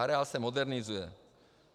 Areál se modernizuje.